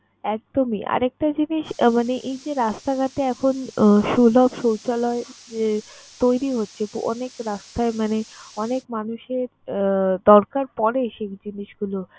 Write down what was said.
একদমই, আরেকটা জিনিস মানে এই যে রাস্তাঘাটে এখন আহ সুলভ শৌচালয় যে তৈরি হচ্ছে। অনেক রাস্তায় মানে অনেক মানুষের আহ দরকার পরে সেই জিনিসগুলো।